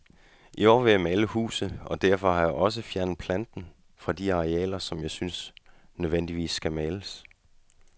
I år vil jeg male huset, og derfor har jeg også fjernet planten fra de arealer, som jeg synes nødvendigvis skal males.